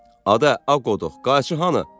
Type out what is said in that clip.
Adə, a qodux, qayçın hanı?